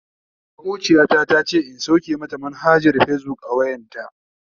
Makociya ta tace in sauke mata manhajar fazbuk a wayanta.